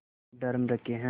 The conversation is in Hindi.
ड्रम रखे हैं